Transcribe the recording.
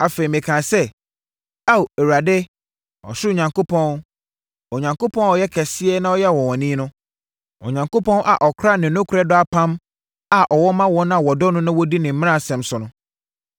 Afei, mekaa sɛ, “Ao Awurade, ɔsoro Onyankopɔn, Onyankopɔn a ɔyɛ kɛseɛ na ɔyɛ ɔnwanwani no, Onyankopɔn a ɔkora ne nokorɛ dɔ apam a ɔwɔ ma wɔn a wɔdɔ no na wɔdi ne mmaransɛm so no,